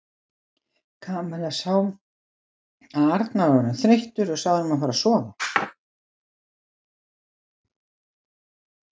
Kamilla sá að Arnar var orðinn þreyttur og sagði honum að fara að sofa.